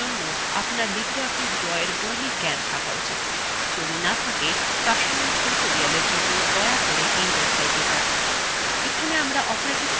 এই tutorial জন্য আপনার libreoffice drawfor মৌলিক জ্ঞান থাকা উচিত যদি না থাকে প্রাসঙ্গিক tutorialfor জন্য দয়া করে এই website যান